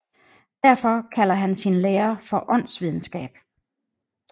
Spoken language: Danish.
Derfor kalder han sin lære for åndsvidenskab